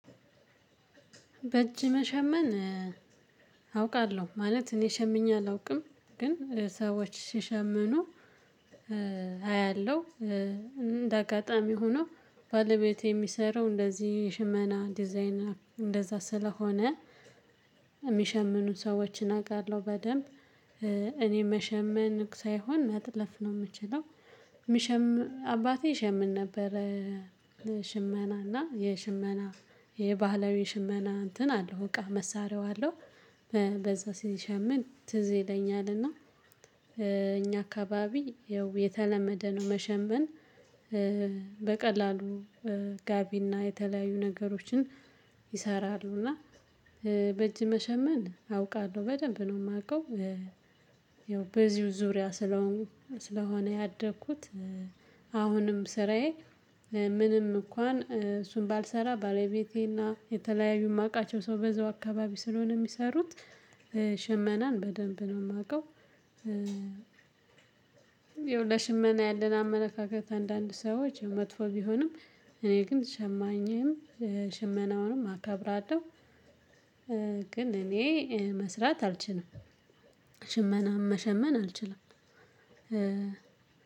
በእጅ መሸመን አውቃለሁ ማለት እኔ ሸምኘ አላውቅም ግን ሰዎች ሲሸምኑ አያለሁ። እንደ አጋጣሚ ሆኖ ባለቤቴ የሚሰራው እንደዚህ የሽመና ዲዛይን እንደዛ ስለሆነ የሚሸምኑ ሰዎችን አውቃለሁ በደንብ። እኔ መሸመን ሳይሆን መጥለፍ ነው የምችለው። የሚሸም አባቴ የሸምን ነበር። ሽመና እና የሽመና የባህላዊ ሽመና እንትን አለው እቃ መሳሪያው አለው። በዛ ሲሸምን ትዝ ይለኛልና እኛ አካባቢ ይኸው የተለመደ ነው መሸመን። በቀላሉ ጋቢና የተለያዩ ነገሮችን ይሰራሉ እና በእጅ መሸመን አውቃለሁ በደንብ ነው የማውቀው። ይኸው በዚሁ ዙሪያ ስለሆን ስለሆነ ያደግኩት። አሁንም ስራዬ ምንም እንኳን እሱን ባልሰራ ባለቤቴና የተለያዩ የማውቃቸው ሰው በዚሁ አካባቢ ስለሆነ የሚሰሩት ሽመናን በደንብ ነው የማውቀው። ይሄው ለሺመና ያለን አመለካከት አንዳንድ ሰዎች መጥፎ ቢሆንም እኔ ግን ሸማኝም ሽመናውንም አከብራለሁ። ግን እኔ መስራት አልችልም። ሽመናን መሸመን አልችልም።